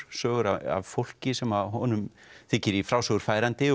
sögur af fólki sem honum þykir í frásögur færandi